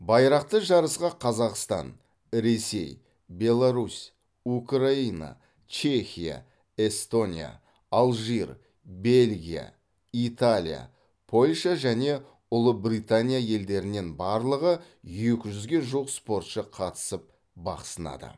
байрақты жарысқа қазақстан ресей беларусь украина чехия эстония алжир бельгия италия польша және ұлыбритания елдерінен барлығы екі жүзге жуық спортшы қатысып бақ сынады